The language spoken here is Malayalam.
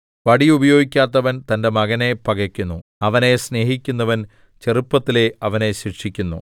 വടി ഉപയോഗിക്കാത്തവൻ തന്റെ മകനെ പകക്കുന്നു അവനെ സ്നേഹിക്കുന്നവൻ ചെറുപ്പത്തിലേ അവനെ ശിക്ഷിക്കുന്നു